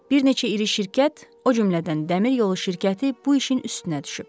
Bir neçə iri şirkət, o cümlədən dəmir yolu şirkəti bu işin üstünə düşüb.